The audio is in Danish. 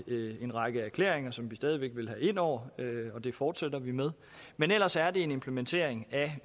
en række erklæringer som vi stadig væk vil have ind over og det fortsætter vi med men ellers er det en implementering af